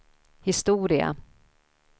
historia